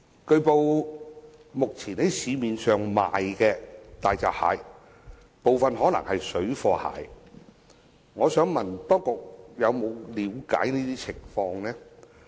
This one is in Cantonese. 據報，目前在市面上出售的大閘蟹，可能有部分是"水貨蟹"，我想問當局有否了解相關情況？